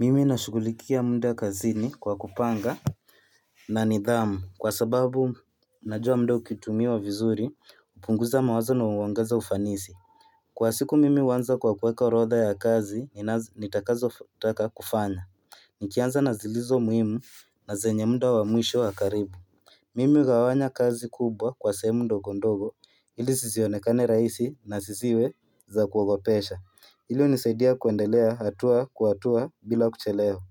Mimi nashugulikia muda kazini kwa kupanga na nidhamu kwa sababu najua muda ukitumiwa vizuri hupunguza mawazo na huongeza ufanisi. Kwa siku mimi huanza kwa kuweka orodha ya kazi nitakazo taka kufanya. Nikianza nazilizo muhimu na zenye muda wa mwisho wa karibu Mimi hugawanya kazi kubwa kwa sehemu ndogo ndogo ili zisionekane rahisi na zisiwe za kuogopesha. Hilo hunisaidia kuendelea hatua kwa hatua bila kuchelewa